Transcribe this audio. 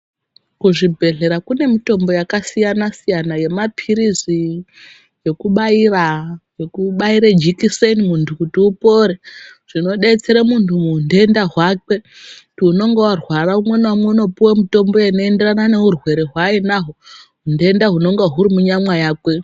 Kuzvibhedhlera kune mitombo yakasiyana-siyana yemapiritsi, yekubayira, yekubayira jekiseni, muntu kuti upore, zvinodetsere muntu muhunhenda hwakwe kuti unenge arwara, umwe naumwe unopiwa mitombo inoenderana nehurwere hwaainahwo, hutenda hwunenge hwuri munyama makwe.